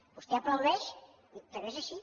vostè aplaudeix però és així